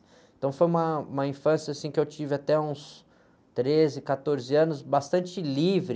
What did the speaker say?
Então, foi uma, uma infância que eu tive até uns treze, quatorze anos, bastante livre,